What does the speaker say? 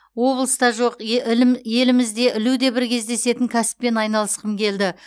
облыста жоқ е ілім елімізде ілуде бір кездесетін кәсіппен айналысқым келді